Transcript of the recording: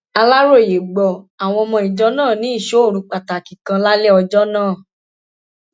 aláròye gbọ àwọn ọmọ ìjọ náà ní ìsọ òru pàtàkì kan lálẹ ọjọ náà